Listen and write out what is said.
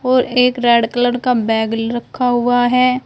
और एक red colour का बैग ल् रखा हुआ है।